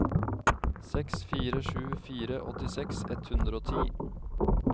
seks fire sju fire åttiseks ett hundre og ti